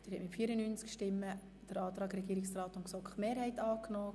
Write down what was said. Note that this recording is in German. Sie haben den Antrag Regierung und GSoKMehrheit angenommen.